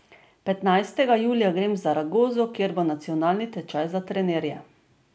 Petnajstega julija grem v Zaragozo, kjer bo nacionalni tečaj za trenerje.